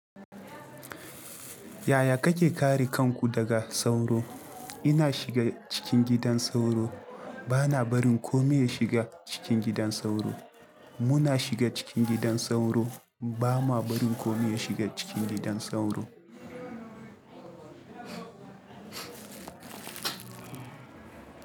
Yaya kake kare kanku daga sauro? Ina shiga cikin gidan sauro. Bana barin komai ya shiga cikin gidan sauro. Muna shiga cikin gidan sauro. Ba ma barin komai ya shiga cikin gidan sauro.